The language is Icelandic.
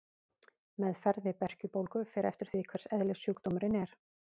Meðferð við berkjubólgu fer eftir því hvers eðlis sjúkdómurinn er.